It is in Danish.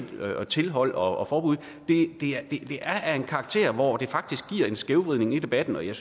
tilhold og forbud er af en karakter hvor det faktisk giver en skævvridning af debatten og jeg